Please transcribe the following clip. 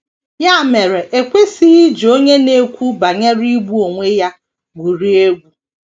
Ya mere e kwesịghị iji onye na - ekwu banyere igbu onwe ya gwurie egwu.